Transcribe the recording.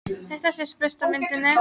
Þetta sést best á myndinni.